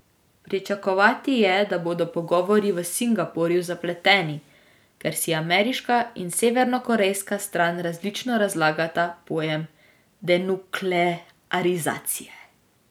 Pričakovati je, da bodo pogovori v Singapurju zapleteni, ker si ameriška in severnokorejska stran različno razlagata pojem denuklearizacije.